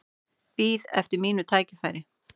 Bíð eftir mínu tækifæri